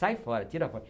Sai fora, tira fora.